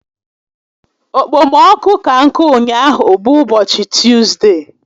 Okpomọkụ ka nkụ ụnyaahụ bụ ụbọchị Tuzde